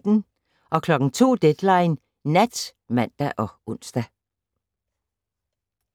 02:00: Deadline Nat (man og ons)